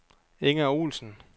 Inger Olsen